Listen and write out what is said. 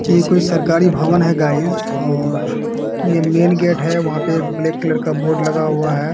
ये कोई सरकारी भवन है गाइज और ये मेन गेट है। वहां पे एक ब्लैक कलर का बोर्ड लगा हुआ है।